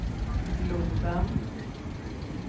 globen